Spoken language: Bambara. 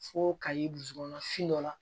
Fo ka ye dusukun fin dɔ la